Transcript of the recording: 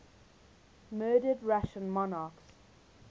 murdered russian monarchs